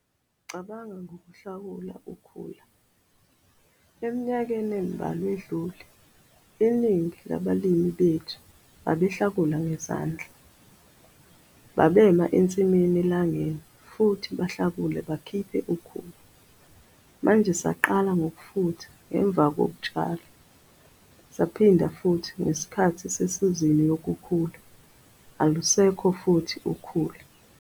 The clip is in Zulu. Cabanga ngokulawula ukhula - eminyakeni embawa edlule, iningi labalimi bethu babehlakula ngezandla, babema ensimini elangeni futhi bahlakule bakhiphe ukhula. Manji saqala ngokufutha nangemva kokutshala, siphinde futhi ngesikhathi sesizini yokukhula - alusekho futhi ukhula.